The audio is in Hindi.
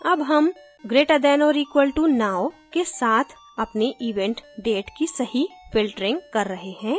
हम अब greater than or equal to now के साथ अपनी event date की सही filtering कर रहे हैं